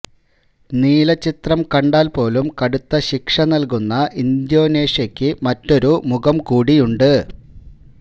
നീല ചിത്രം കണ്ടാല് പോലും കടുത്ത ശീക്ഷ നല്കുന്ന ഇന്തോനേഷ്യയ്ക്ക് മറ്റൊരു മുഖം കൂടിയുണ്ട്